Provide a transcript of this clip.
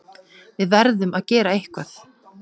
Við verðum að gera eitthvað.